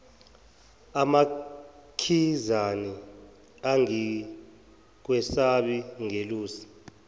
amakhizane angikwesabi ngelusa